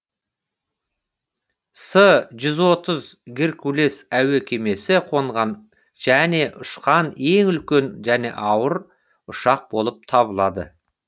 с жүз отыз геркулес әуе кемесі қонған және ұшқан ең үлкен және ауыр ұшақ болып табылады